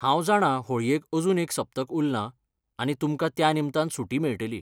हांव जाणां होळयेक अजून एक सप्तक उरलां, आनी तुमकां त्या निमतान सुटी मेळटली.